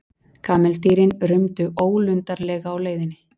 Kameldýrin rumdu ólundarlega á leiðinni.